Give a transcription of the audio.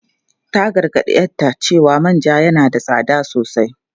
Ta gargadi 'yarta cewa manja yana da tsada sosai.